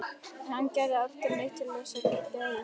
En hann gerir aldrei neitt til þess að geðjast því.